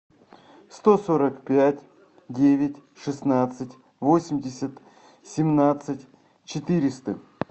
сто сорок пять девять шестнадцать восемьдесят семнадцать четыреста